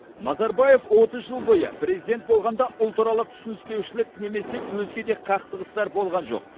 назарбаев отыз жыл бойы президент болғанда ұлтаралық түсініспеушілік немесе өзге де қақтығыстар болған жоқ